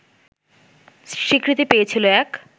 স্বীকৃতি পেয়েছিল এক